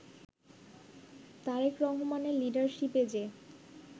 তারেক রহমানের লিডারশিপের যে